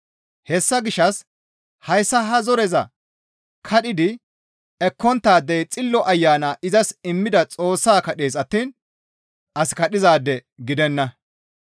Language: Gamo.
Hessa gishshas hayssa ha zoreza kadhidi ekkonttaadey Xillo Ayana izas immida Xoossaa kadhees attiin as kadhizaade gidenna.